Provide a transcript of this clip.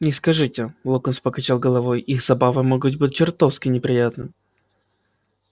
не скажите локонс покачал головой их забавы могут быть чертовски неприятны